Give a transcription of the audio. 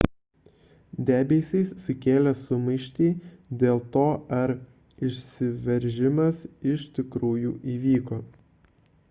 debesys sukėlė sumaištį dėl to ar išsiveržimas iš tikrųjų įvyko